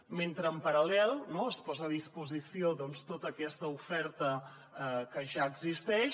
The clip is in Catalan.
mentre es posa a disposició doncs tota aquesta oferta que ja existeix